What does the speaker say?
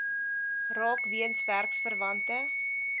raak weens werksverwante